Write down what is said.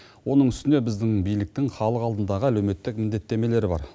оның үстіне біздің биліктің халық алдындағы әлеуметтік міндеттемелері бар